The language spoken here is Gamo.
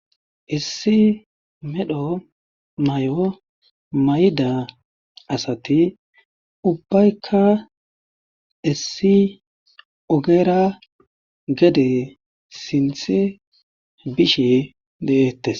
issi medho mayo mayida asati ubbaykka issi ogeera gede sinth bishe de'ettes